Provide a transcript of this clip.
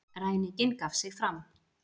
Ræninginn gaf sig fram